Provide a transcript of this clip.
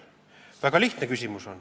See on väga lihtne.